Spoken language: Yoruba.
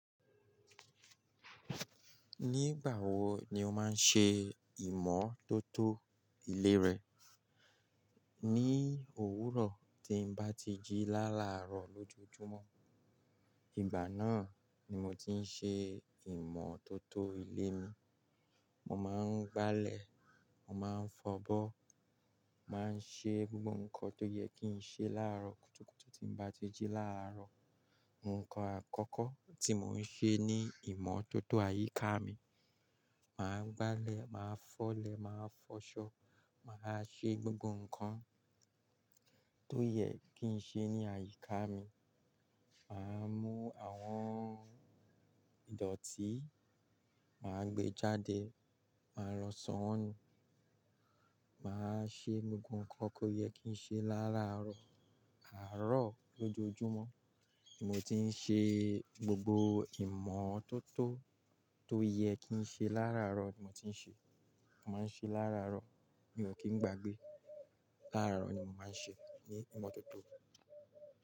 Nígbà wo ni o máa ń ṣe ìmọ́tótó ilé rẹ? Ní òwúrọ̀ tí ń bá ti jí láàárọ̀ lójoojúmọ́. Ìgbà náà ni mo ti ń ṣe ìmọ́tótó ilé mi. Mo máa ń gbálẹ̀, màá ń fọ'bọ́, màá ń ṣe gbogbo ǹkan tó yẹ kí ń ṣe láàárọ̀ kùtùkùtù tí ń bá ti jí láàárọ̀. Ǹkan àkọ́kọ́ tí mò ń ṣe ní ìmọ́tótó àyíká mi, màá gbálẹ̀, màá fọ̀lẹ̀, màá fọṣọ, màá ṣe gbogbo ǹkan tó yẹ kí ń ṣe ní àyíká mi. Màá mú àwọn ìdọ̀tí, màá gbe jáde, màá lọ sọ́ won nu, màá ṣe gbogbo ǹkan tó yẹ kí ń ṣe láararo. Àárọ̀ lójoojúmọ́ ni mo ti ń ṣe gbogbo ìmọ́tótó tó yẹ kí ń ṣe lá'àárọ̀ ni mo ti ń ṣe. Mo máa ń ṣe lá'àárọ̀, mi ò kí ń gbàgbé. Lá'àárọ̀ ni mo máa ń ṣe ìmọ́tótó.